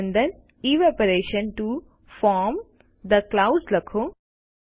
તે અંદર evaporation to form the clouds લખો